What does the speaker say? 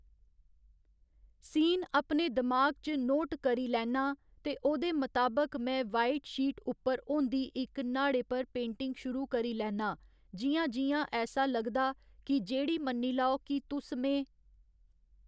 scene अपने दिमाग च नोट करी लैन्ना ते ओह्दे मताबक में वाइट शीट उप्पर होंदी इक न्हाड़े पर पेंटिंग शुरू करी लैन्ना जि'यां जि'यां ऐसा लगदा कि जेह्ड़ी मन्नी लाओ कि तुस में